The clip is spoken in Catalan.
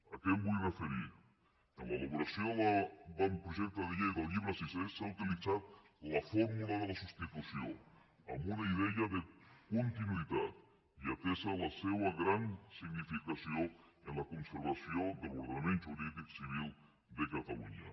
a què em vull referir en l’elaboració de l’avantprojecte de llei del llibre sisè s’ha utilitzat la fórmula de la substitució amb una idea de continuïtat i atesa la seva gran significació en la conservació de l’ordenament jurídic civil de catalunya